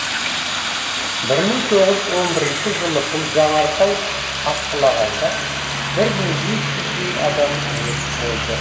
бір мың тоғыз жүз он бірінші жылы бұл жанартау атқылағанда бір мың бес жүздей адам мерт болды